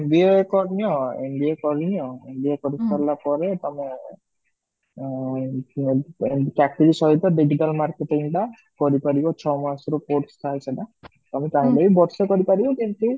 MBA କରି ନିଅ MBA କରି ନିଅ MBAMBA କରି ସାରିଲା ପରେ ତମେ ଆଃ ଚାକିରି ସହିତ ଚାକିରି ସହିତ digital marketing ଟା କରି ପାରିବ ଛ ମାସର course ଥାଏ ସେଟା ତମ ଚାହିଁଲେ ବର୍ଷେ କରିପାରିବ ଯେମିତି